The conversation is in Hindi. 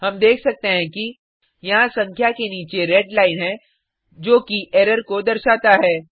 हम देख सकते हैं कि यहाँ संख्या के नीचे रेड लाइन है जो कि एरर को दर्शाता है